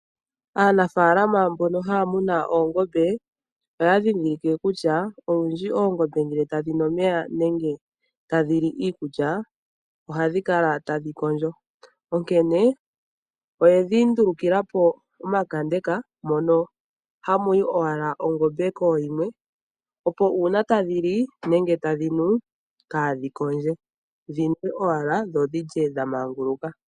Aanafaalama mbono haa muna oongombe oya ndhindhilike kutya olundji oongombe ngele tadhi nu omeya nenge tadhi li iikulya ohadhi kala tadhi kondjo. Onkene oye dhi ndulukilapo omakandeka mono hamu yi owala ongombe kooyimwe opo uuna tadhi li nenge tadhi nu kaadhi kondje dhinwe owala dho dhi lye dha maanguluka.